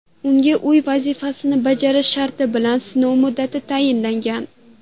Unga uy vazifasini bajarish sharti bilan sinov muddati tayinlangan.